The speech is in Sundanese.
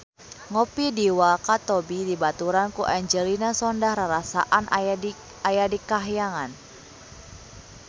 Ngopi di Wakatobi dibaturan ku Angelina Sondakh rarasaan aya di kahyangan